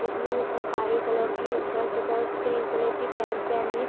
इसने काही कलर की शर्ट तथा क्रीम कलर की पैंट पहनी हैं।